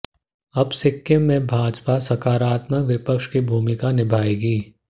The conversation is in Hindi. अब सिक्किम में भाजपा सकारात्मक विपक्ष की भूमिका निभायेगी